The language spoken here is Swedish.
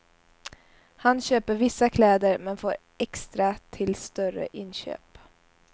Han köper vissa kläder men får extra till större inköp.